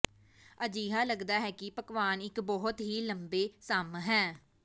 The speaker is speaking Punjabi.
ਅਜਿਹਾ ਲੱਗਦਾ ਹੈ ਕਿ ਪਕਵਾਨ ਇੱਕ ਬਹੁਤ ਹੀ ਲੰਬੇ ਸਮ ਹੈ